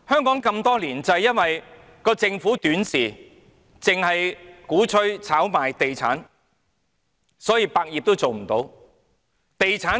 香港多年來就是因為政府短視，只鼓吹炒賣地產，所以百業也發展不起來。